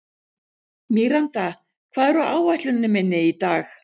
Míranda, hvað er á áætluninni minni í dag?